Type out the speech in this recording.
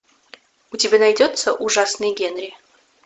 у тебя найдется ужасный генри